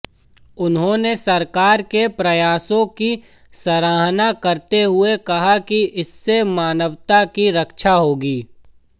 उन्होंने सरकार के प्रयासों की सराहना करते हुए कहा कि इससे मानवता की रक्षा होगी